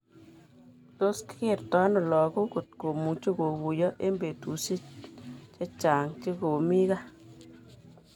Tos kigerto ano lakog kotkomuche koguyo eng betushak chechang chekomi gaa